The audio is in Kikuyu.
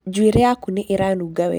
Njuĩrĩ yaku nĩ ĩranunga wega.